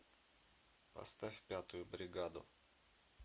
поставь пятую бригаду